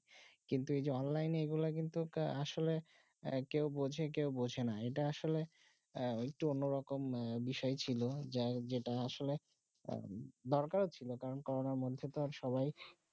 কিন্তু যে অনলাইন যে গুলু কিন্তু আসলে যে গুলু কেউ বোঝে কেউ বোঝে না যেটা আসলে অন্যরকম বিষয় ছিল যেটা আসলে দরকার ছিল করোনা মধ্যে তো আর সবাই